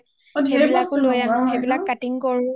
অ ঢেৰ বস্তু লগোৱা হই ন